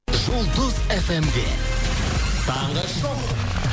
жұлдыз фмде таңғы шоу